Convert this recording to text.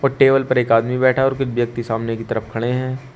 और टेबल पर एक आदमी बैठा और कुछ व्यक्ति सामने की तरफ खड़े हैं।